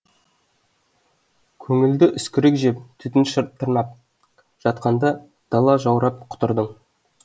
көңілді үскірік жеп түтін тырнап жатқанда дала жаурапқұтырдың